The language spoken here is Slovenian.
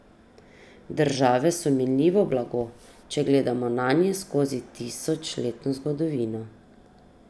Države so minljivo blago, če gledamo nanje skozi tisočletno zgodovino.